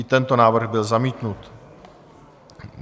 I tento návrh byl zamítnut.